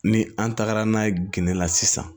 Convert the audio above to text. Ni an tagara n'a ye gende la sisan